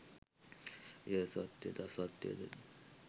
එය සත්‍යයද අසත්‍යද